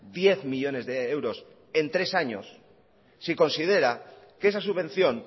diez millónes de euros en tres años si considera que esa subvención